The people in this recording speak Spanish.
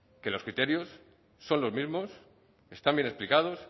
que los criterios son los mismos están bien explicados